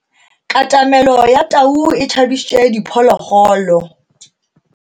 Katamelo ya tau e tshabisitse diphologolo.